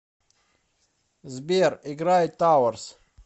сбер играй тауэрс